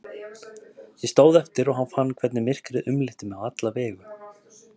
Ég stóð eftir og fann hvernig myrkrið umlukti mig á alla vegu.